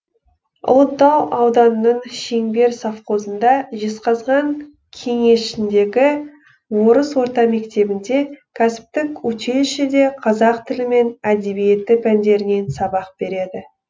ұлытау ауданының шеңбер совхозында жезқазған кенішіндегі орыс орта мектебінде кәсіптік училищеде қазақ тілі мен әдебиеті пәндерінен сабақ береді